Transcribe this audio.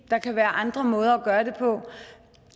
der kan være andre måder at gøre det på